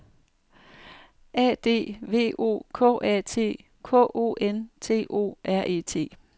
A D V O K A T K O N T O R E T